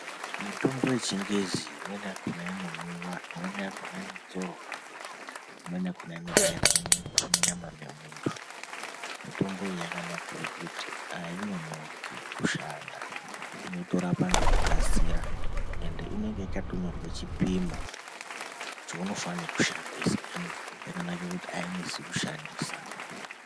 Mutombo wechingezi imweni yakona inomwiwa imweni yakona inozorwa imweni yakona inobairwa muntu munyama memuntu mitombo iyi yakanakira kuti ainonoki kushanda inotorapa nekukasira ende inenge yakanyorwa chipona chaunofana kushandisa yakanakira kuti ainesi kushandisa.